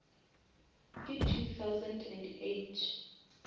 ka two thousand and eight